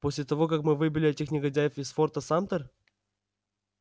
после того как мы выбили этих негодяев из форта самтер